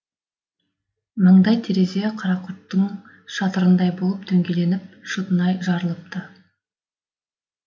маңдай терезе қарақұрттың шатырындай болып дөңгеленіп шытынай жарылыпты